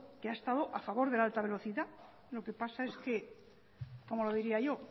que ha estado a favor de la alta velocidad lo que pasa es que cómo lo diría yo